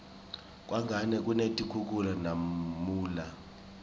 kangwane kunetikhukhula namunla